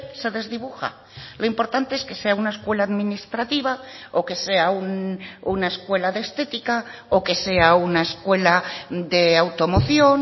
se desdibuja lo importante es que sea una escuela administrativa o que sea una escuela de estética o que sea una escuela de automoción